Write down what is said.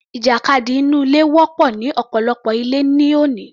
Ìjàkadì inú ilé wọ́pọ̀ ní ọ̀pọ̀lọpọ̀ ilé ní òní